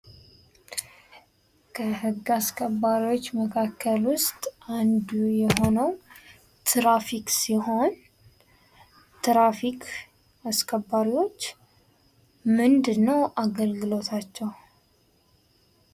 ከህግ አስገባሪዎች መካከል ውስጥ አንዱ የሆነው ትራፊክ ሲሆን ትራፊክ አስከባሪዎችዎች ምንድነው አገልግሎታቸው?